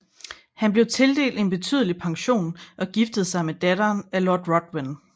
Han blev tildelt en betydelig pension og giftede sig med datteren af Lord Ruthven